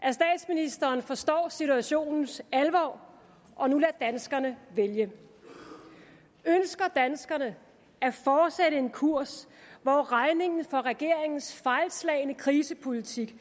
at statsministeren forstår situationens alvor og nu lader danskerne vælge ønsker danskerne at fortsætte en kurs hvor regningen for regeringens fejlslagne krisepolitik